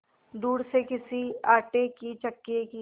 दूर से किसी आटे की चक्की की